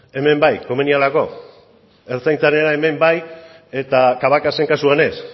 hemen bai komeni delako ertzaintzarena hemen bai eta cabacasen kasuan ez